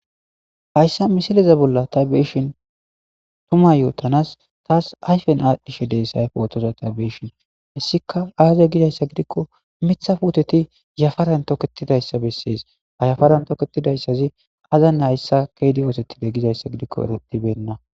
hayssa misileza bolla tabbishin tuma yootanas taas ayfen aadhdhishe deessay pootoza tabbeyishin hissika aaze gidayssa gidikko mitha puoteti yafaran toketidayssa bessees hayhafaran toketidayssazi azan hayssa keedi oosettide gizayssa gidikko eretibenna